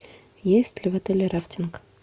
есть ли в отеле рафтинг